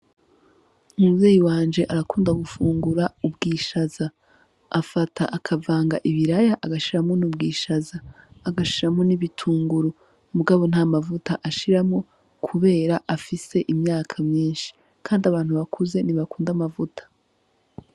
Umuvyeyi wanje arakunda gufungura ubwishaza, afata akavanga ibiraya agashiramwo n'ubwishaza agashiramwo n'ibitunguru mugabo nta mavuta ashiramwo kubera afise imyaka myinshi, kandi abantu bakuze ntibakunda amavuta.